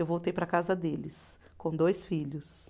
Eu voltei para a casa deles, com dois filhos.